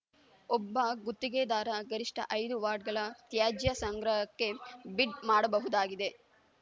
ಒಬ್ಬ ಗುತ್ತಿಗೆದಾರ ಗರಿಷ್ಠ ಐದು ವಾರ್ಡ್‌ಗಳ ತ್ಯಾಜ್ಯ ಸಂಗ್ರಹಕ್ಕೆ ಬಿಡ್‌ ಮಾಡಬಹುದಾಗಿದೆ